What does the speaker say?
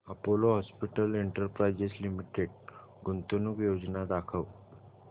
Apollo Hospitals Enterprise Limited गुंतवणूक योजना दाखव